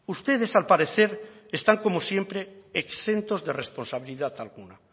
ustedes al parecer están como siempre exentos de responsabilidad alguna